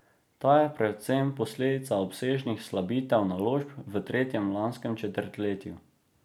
Ta je predvsem posledica obsežnih slabitev naložb v tretjem lanskem četrtletju.